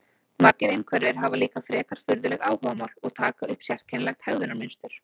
Margir einhverfir hafa líka frekar furðuleg áhugamál og taka upp sérkennilegt hegðunarmynstur.